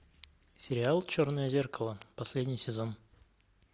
сериал черное зеркало последний сезон